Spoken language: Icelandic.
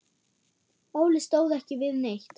Óli stóð ekki við neitt.